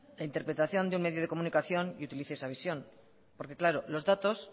interpretación de un medio de comunicación y utilice esa visión porque claro los datos